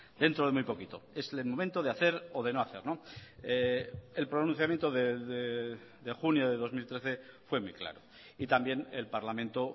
dentro de muy poquito es el momento de hacer o de no hacer el pronunciamiento de junio de dos mil trece fue muy claro y también el parlamento